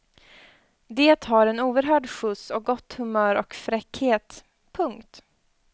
Det har en oerhörd skjuts och gott humör och fräckhet. punkt